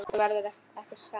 En þú verður ekki samur.